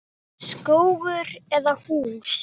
Skógur eða hús?